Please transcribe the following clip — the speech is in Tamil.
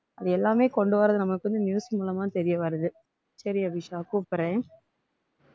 அது எல்லாமே கொண்டு வர்றது நம்மளுக்கு வந்து news மூலமா தெரிய வருது சரி அபிஷா கூப்பிடுறேன்